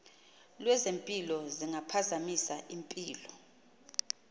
lwezempilo zingaphazamisa impilo